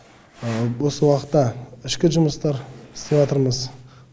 бос уақытта ішкі жұмыстар істеватырмыз